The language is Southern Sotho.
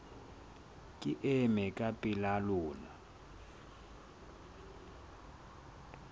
ke ema ka pela lona